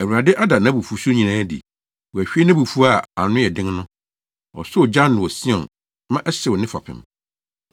Awurade ada nʼabufuwhyew nyinaa adi; wahwie nʼabufuw a ano yɛ den no. Ɔsɔɔ ogya ano wɔ Sion ma ɛhyew ne fapem.